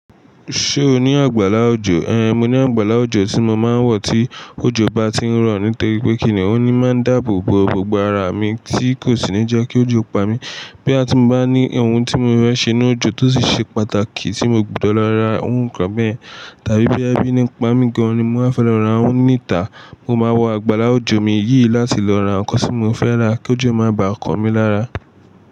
Ṣé o ní àgbàlá òjò? Ehn, mo ní àgbàlá òjò tí mo máa ń wọ̀ tí òjò bá ti ń rọ̀, nítorí pé kìnnì oun ni máa ń dáàbò bo gbogbo ara mi tí kò sì ní jẹ́ kí òjò pa mí. Boya ti mo bá ní ohun tí mo fẹ́ ṣe nínu òjò tó sì ṣe pàtàkì tí mo gbọdọ̀ lọ ra iru nkan bẹ́yẹ̀n tàbí boya bí ní pa mí gan an ni mo máa fẹ́ lọ ra ohun níta, mo máa wọ àgbàlá òjò mi yìí láti lọ ra nǹkan tí mo fẹ́ rà kí òjò máa ba kan mi lára.